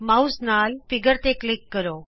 mouse ਨਾਲ ਚਿੱਤਰਤੇ click ਕਰੋ